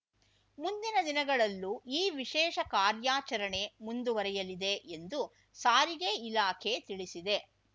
ಮುಂದಿನ ದಿನಗಳಲ್ಲೂ ಈ ವಿಶೇಷ ಕಾರ್ಯಾಚರಣೆ ಮುಂದುವರಿಯಲಿದೆ ಎಂದು ಸಾರಿಗೆ ಇಲಾಖೆ ತಿಳಿಸಿದೆ